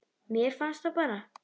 Mér fannst það bara.